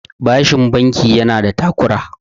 bashin banki yana da takura